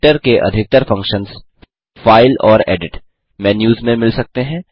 editor के अधिकतर functions file और एडिट मेन्यूस में मिल सकते हैं